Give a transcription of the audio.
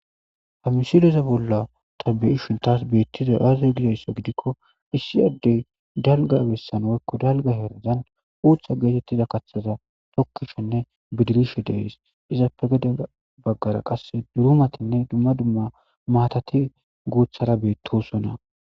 Ha missileza bolla taasi beyishin betizayissi Aze gizayssa gidikko Issi adez dalga besazan woyikko daliga herazan uththa getetiza kaththaza tokishenne bidrishe de'es izappe gede bagara durumatinne dumma dumma maatati guththara betosona